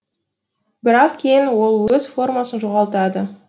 бірақ кейін ол өз формасын жоғалтады